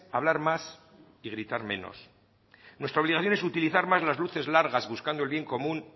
hablar más y gritar menos nuestra obligación es utilizar más la luces largas buscando el bien común